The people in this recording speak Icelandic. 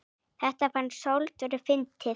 Þetta fannst Sófusi fyndið.